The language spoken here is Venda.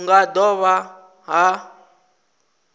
hu nga do vha na